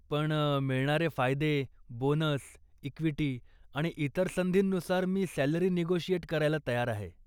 पण मिळणारे फायदे, बोनस, इक्विटी आणि इतर संधींनुसार मी सॅलरी निगोशिएट करायला तयार आहे.